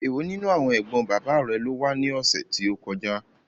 Èwo nínú àwọn ẹ̀gbọ́n bàbá rẹ ló wá ní ọ̀sẹ̀ tí ó kọjá?